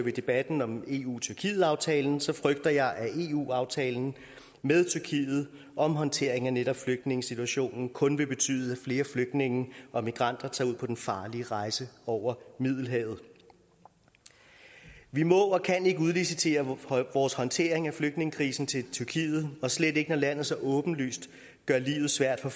i debatten om eu tyrkiet aftalen så frygter jeg at eu aftalen med tyrkiet om håndtering af netop flygtningesituationen kun vil betyde at flere flygtninge og migranter tager ud på den farlige rejse over middelhavet vi må og kan ikke udlicitere vores håndtering af flygtningekrisen til tyrkiet og slet ikke når landet så åbenlyst gør livet svært for